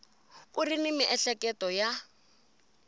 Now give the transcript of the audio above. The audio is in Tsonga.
u ri ni miehleketo ya